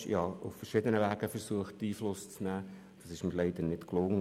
Ich versuchte auf verschiedene Arten Einfluss zu nehmen, was mir leider nicht gelang.